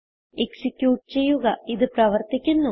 execute ചെയ്യുക ഇത് പ്രവർത്തിക്കുന്നു